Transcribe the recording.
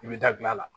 I bɛ da gilan la